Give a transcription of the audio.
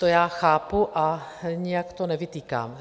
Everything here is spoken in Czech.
To já chápu a nijak to nevytýkám.